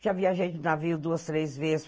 Já viajei de navio duas, três vezes.